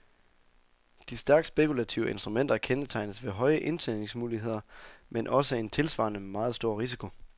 De stærkt spekulative instrumenter kendetegnes ved høje indtjeningsmuligheder, men også en tilsvarende meget stor risiko.